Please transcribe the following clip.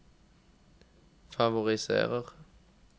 favoriserer